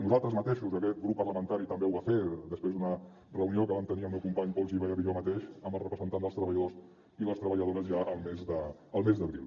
nosaltres mateixos aquest grup parlamentari també ho va fer després d’una reunió que vam tenir el meu company pol gibert i jo mateix amb els representants dels treballadors i les treballadores ja el mes d’abril